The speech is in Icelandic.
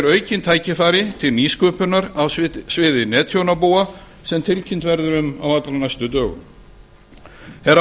aukin tækifæri til nýsköpunar á sviði netþjónabúa sem tilkynnt verður um á allra næstu dögum herra